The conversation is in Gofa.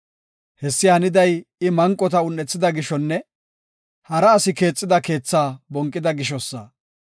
Hessi haniday I manqota un7ethida gishonne hara asi keexida keethaa bonqida gishosa.